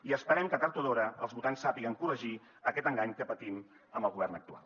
i esperem que tard o d’hora els votants sàpiguen corregir aquest engany que patim amb el govern actual